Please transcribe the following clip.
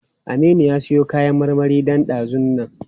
Aminu ya siyo kayan marmari ɗan ɗazun nan.